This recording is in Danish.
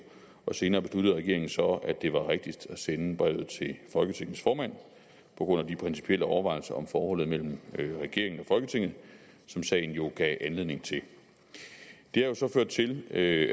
og senere besluttede regeringen så at det var rigtigst at sende brevet til folketingets formand på grund af de principielle overvejelser om forholdet mellem regeringen og folketinget som sagen jo gav anledning til det har jo så ført til at